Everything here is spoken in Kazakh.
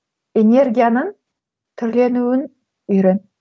энергияның түрленуін үйрен